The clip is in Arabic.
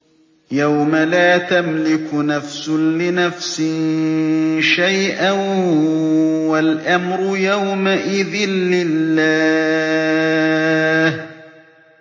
يَوْمَ لَا تَمْلِكُ نَفْسٌ لِّنَفْسٍ شَيْئًا ۖ وَالْأَمْرُ يَوْمَئِذٍ لِّلَّهِ